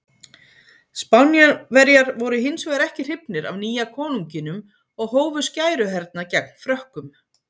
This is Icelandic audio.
Spánverjar voru hins vegar ekki hrifnir af nýja konunginum og hófu skæruhernað gegn Frökkum.